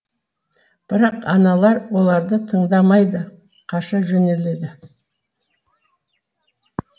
бірақ аналар оларды тыңдамайды қаша жөнеледі